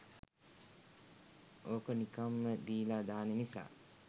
ඕක නිකම්ම දීලා දාන නිසා.